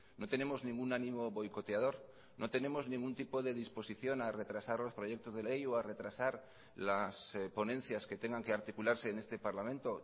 no tenemos ningún ánimo boicoteador no tenemos ningún tipo de disposición a retrasar los proyectos de ley o a retrasar las ponencias que tengan que articularse en este parlamento